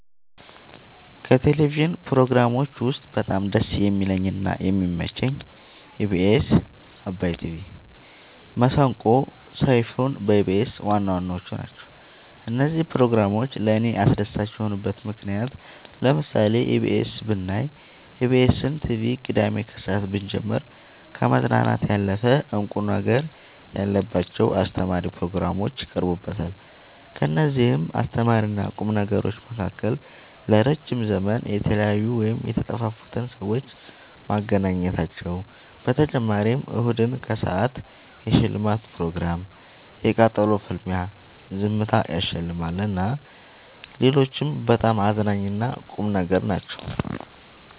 ከቴሌቭዥን ፕሮግራሞች ውስጥ በጣም ደስ የሚለኝ እና የሚመቸኝ ኢቢኤስ አባይ ቲቪ መሰንቆ ሰይፋን በኢቢኤስ ዋናዋናዎቹ ናቸው። እነዚህ ፕሮግራሞች ለእኔ አስደሳች የሆኑበት ምክንያት ለምሳሌ ኢቢኤስ ብናይ ኢቢኤስን ቲቪ ቅዳሜ ከሰአት ብንጀምር ከመዝናናት ያለፈ እንቁ ነገር ያለባቸው አስተማሪ ፕሮግራሞች ይቀርቡበታል ከእነዚህም አስተማሪና ቁም ነገሮች መካከል ለረዥም ዘመን የተለያዩን ወይም የተጠፋፉትን ሰዎች ማገናኘታቸው በተጨማሪም እሁድን ከሰአት የሽልማት ፕሮግራም የቃጠሎ ፍልሚያ ዝምታ ያሸልማል እና ሌሎችም በጣም አዝናኝ እና ቁም ነገሮች ናቸው።